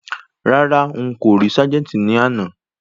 Rárá,n kò rí ságẹ́ńtì àná.